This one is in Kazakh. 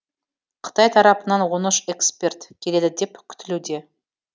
қытай тарапынан он үш эксперт келеді деп күтілуде